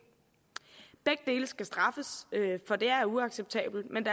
begge dele skal straffes for det er uacceptabelt men